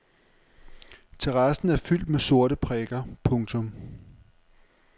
Terrassen er fyldt med sorte prikker. punktum